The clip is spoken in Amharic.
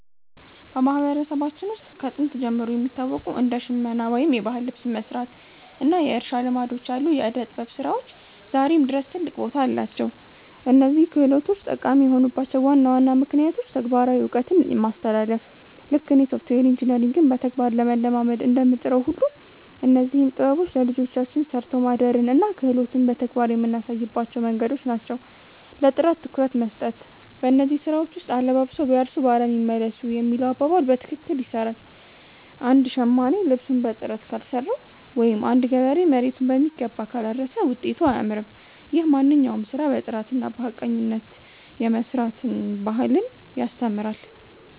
በማህበረሰባችን ውስጥ ከጥንት ጀምሮ የሚታወቁ እንደ ሽመና (የባህል ልብስ መስራት) እና የእርሻ ልማዶች ያሉ የዕደ-ጥበብ ስራዎች ዛሬም ድረስ ትልቅ ቦታ አላቸው። እነዚህ ክህሎቶች ጠቃሚ የሆኑባቸው ዋና ዋና ምክንያቶች ተግባራዊ እውቀት ማስተላለፍ፦ ልክ እኔ ሶፍትዌር ኢንጂነሪንግን በተግባር ለመለማመድ እንደምጥረው ሁሉ፣ እነዚህም ጥበቦች ለልጆቻችን 'ሰርቶ ማደርን' እና 'ክህሎትን' በተግባር የምናሳይባቸው መንገዶች ናቸው። ለጥራት ትኩረት መስጠት፦ በእነዚህ ስራዎች ውስጥ 'አለባብሰው ቢያርሱ በአረም ይመለሱ' የሚለው አባባል በትክክል ይሰራል። አንድ ሸማኔ ልብሱን በጥራት ካልሰራው ወይም አንድ ገበሬ መሬቱን በሚገባ ካላረሰ ውጤቱ አያምርም። ይህም ማንኛውንም ስራ በጥራትና በሐቀኝነት የመስራት ባህልን ያስተምራል።